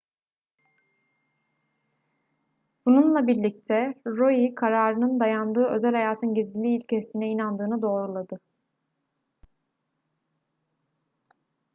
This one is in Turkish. bununlar birlikte roe kararının dayandığı özel hayatın gizliliği ilkesine inandığını doğruladı